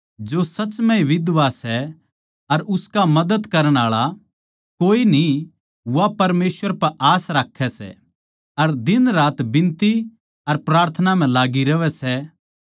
जो सच म्ह ए बिधवा सै अर उसका मदद करण आळा कोए न्ही वा परमेसवर पै आस राक्खै सै अर दिनरात बिनती अर प्रार्थना म्ह लाग्गी रहवै सै